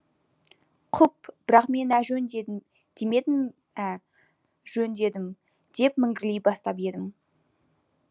құп бірақ мен әжөн демедім ә жөн дедім деп міңгірлей бастап едім